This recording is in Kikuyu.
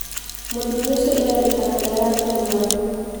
Mũthuri ũcio irairikana niararĩ mũruaru.